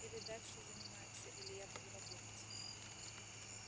или дальше занимаемся или я буду работать